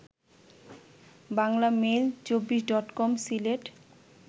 বাংলামেইল২৪ডটকম Sylhet